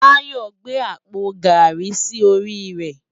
Tayo n gbé ápó gári si óri rè